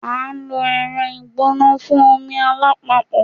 A lo ẹrọ igbona fun omi alapapo